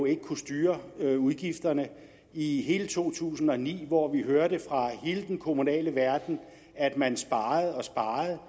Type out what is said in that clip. ikke kunne styre udgifterne i hele to tusind og ni hvor vi hørte fra hele den kommunale verden at man sparede og sparede